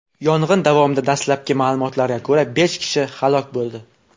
Yong‘in davomida, dastlabki ma’lumotlarga ko‘ra, besh kishi halok bo‘ldi.